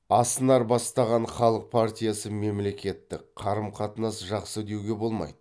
аснар бастаған халық партиясы мемлекеттік қарым қатынас жақсы деуге болмайды